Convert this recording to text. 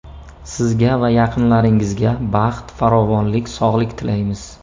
Sizga va yaqinlaringizga baxt, farovonlik, sog‘lik tilaymiz!